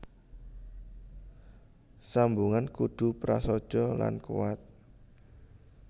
Sambungan kudu prasaja lan kuwat